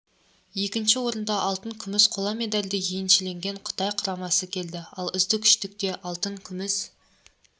екінші орында алтын күміс қола медальді еншілеген қытай құрамасы келеді ал үздік үштікте алтын күміс